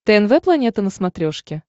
тнв планета на смотрешке